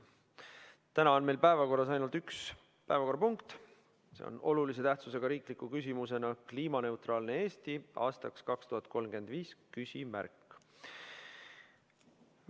Täna on meil päevakorras ainult üks päevakorrapunkt, see on olulise tähtsusega riiklik küsimus "Kliimaneutraalne Eesti aastaks 2035?".